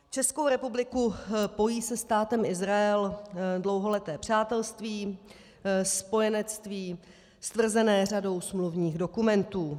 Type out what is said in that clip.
Českou republiku pojí se Státem Izrael dlouholeté přátelství, spojenectví stvrzené řadou smluvních dokumentů.